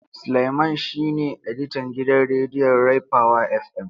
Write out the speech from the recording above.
Suleiman shine editan gidan rediyon Ray power FM.